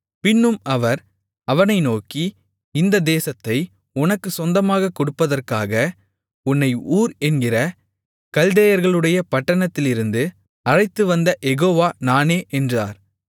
பின்னும் அவர் அவனை நோக்கி இந்த தேசத்தை உனக்குச் சொந்தமாகக் கொடுப்பதற்காக உன்னை ஊர் என்கிற கல்தேயர்களுடைய பட்டணத்திலிருந்து அழைத்துவந்த யெகோவா நானே என்றார்